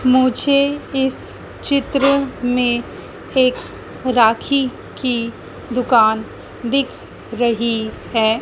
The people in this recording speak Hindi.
मुझे इस चित्र में एक राखी की दुकान दिख रही है।